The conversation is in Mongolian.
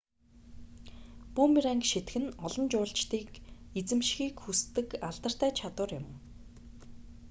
бүүмеранг шийдэх нь олон жуулчдыг эзэмшихийг хүсдэг алдартай чадвар юм